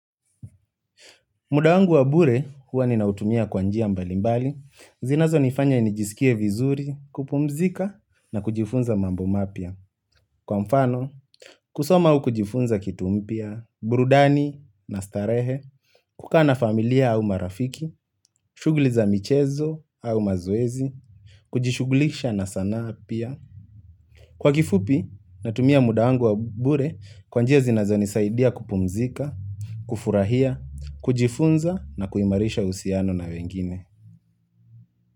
Muda wangu wa bure huwa ninautumia kwa njia mbalimbali, zinazo nifanya nijisikie vizuri, kupumzika na kujifunza mambo mapia. Kwa mfano, kusoma au kujifunza kitu mpia, burudani na starehe, kukaa na familia au marafiki, shugli za michezo au mazoezi, kujishuglisha na sanaa pia. Kwa kifupi, natumia muda wangu wa bure kwa njia zinazo nisaidia kupumzika, kufurahia, kujifunza na kuimarisha usiano na wengine.